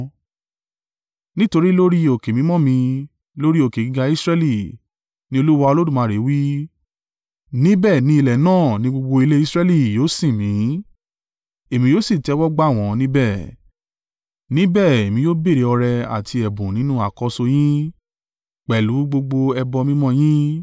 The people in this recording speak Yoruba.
Nítorí lórí òkè mímọ́ mi, lórí òkè gíga Israẹli, ni Olúwa Olódùmarè wí, níbẹ̀ ni ilẹ̀ náà ní gbogbo ilé Israẹli yóò sìn mí; èmi yóò sì tẹ́wọ́ gba wọ́n níbẹ̀. Níbẹ̀ èmi yóò béèrè ọrẹ àti ẹ̀bùn nínú àkọ́so yín pẹ̀lú gbogbo ẹbọ mímọ́ yín.